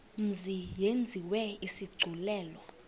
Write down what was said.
mzi yenziwe isigculelo